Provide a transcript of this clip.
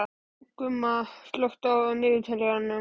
Gumma, slökktu á niðurteljaranum.